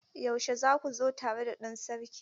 Yaushe za ku zo tare da ɗan Sarki?